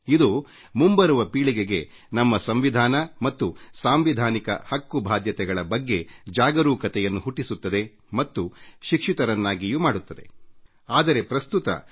ಇದು ಮುಂಬರುವ ನಮ್ಮ ಪೀಳಿಗೆಗೆ ನಮ್ಮ ಪ್ರಜಾಪ್ರಭುತ್ವ ಮತ್ತು ಅವರ ಪ್ರಜಾಸತ್ತಾತ್ಮಕ ಬಾಧ್ಯತೆಗಳ ಬಗ್ಗೆ ಜಾಗರೂಕತೆಯನ್ನು ಮೂಡಿಸುತ್ತದೆ ಮತ್ತು ಅವರಿಗೆ ಸಂಸ್ಕೃತಿ ನೈತಿಕ ಮೌಲ್ಯಗಳು ಮತ್ತು ನಮ್ಮ ಪ್ರಜಾಪ್ರಭುತ್ವದಲ್ಲಿ ಅಂತರ್ಗತವಾಗಿರುವರೂಢಿಗಳ ಬಗ್ಗೆ ಅರಿವು ಮೂಡಿಸುತ್ತದೆ